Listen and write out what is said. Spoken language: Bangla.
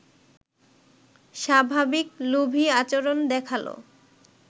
স্বাভাবিক লোভী আচরণ দেখাল